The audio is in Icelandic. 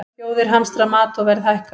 Þjóðir hamstra mat og verð hækkar